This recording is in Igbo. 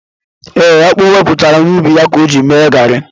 E, akpu o wetara n'ubi ya ka o ji mepụta garri